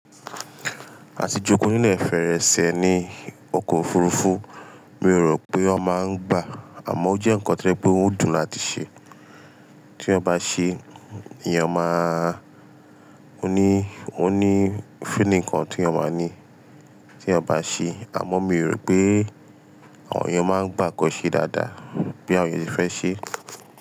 Àti jókòó níle ìfẹ́rẹ́ṣẹ́ ni ọkọ̀ òfurufú, mi ò rò pé ó máa ń gbà, àmọ́ ó jẹ́ nǹkan to je pé ó dùn láti ṣe. Tí eyan bá ṣe, èèyàn máa-- ó ní, ó ní feeling kan tí èèyàn máa ní tí ó bá ṣe. Àmọ́ mi ò rò pé àwọn èèyàn máa ń gbà kí ó ṣe dáadáa bí àwọn ènìyàn ṣe fẹ́ ṣe.